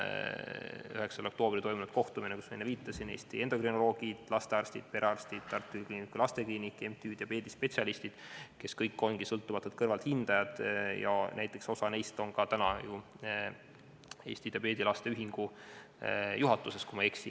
9. oktoobril toimub kohtumine, kus osalevad Eesti endokrinoloogid, lastearstid, perearstid, Tartu Ülikooli Kliinikumi Lastekliinik ja MTÜ Diabeedispetsialistid, kes kõik on sõltumatud kõrvalthindajad ning kellest osa on täna ka ju Eesti Laste ja Noorte Diabeedi Ühingu juhatuses, kui ma ei eksi.